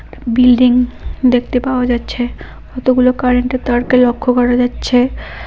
Building দেখতে পাওয়া যাচ্ছে কতগুলো কারেন্টের তারকে লক্ষ্য করা যাচ্ছে।